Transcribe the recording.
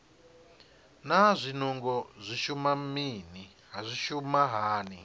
naa zwinungo zwi shuma hani